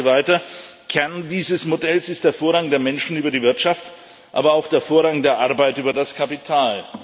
Und er sagte weiter Kern dieses Modells ist der Vorrang der Menschen über die Wirtschaft, aber auch der Vorrang der Arbeit über das Kapital.